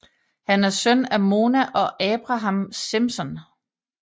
Han er søn af Mona og Abraham Simpson